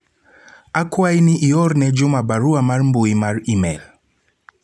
akwayi ni ior ne Juma barua mar mbui mar email